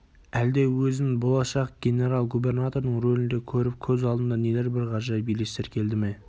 әлде өзін болашақ генерал-губернатордың рөлінде көріп көз алдына нелер бір ғажайып елестер келді ме